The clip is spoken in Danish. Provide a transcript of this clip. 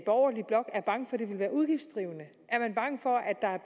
borgerlige blok er bange for at det vil være udgiftsdrivende er man bange for at der er